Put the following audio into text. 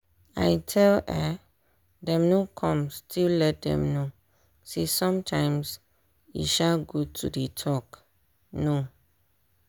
i tell um dem no come still let dem know say sometimes e um good to dey talk no.